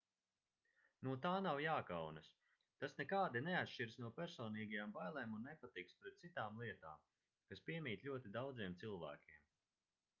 no tā nav jākaunas tas nekādi neatšķiras no personīgajām bailēm un nepatikas pret citām lietām kas piemīt ļoti daudziem cilvēkiem